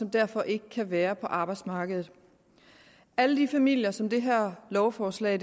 derfor ikke kan være på arbejdsmarkedet alle de familier som det her lovforslag